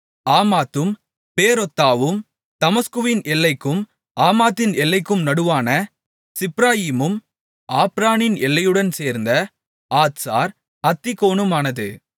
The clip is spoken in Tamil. ஆமாத்தும் பேரொத்தாவும் தமஸ்குவின் எல்லைக்கும் ஆமாத்தின் எல்லைக்கும் நடுவான சிப்ராயிமும் ஆப்ரானின் எல்லையுடன் சேர்ந்த ஆத்சார் அத்தீகோனுமானது